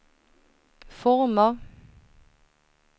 former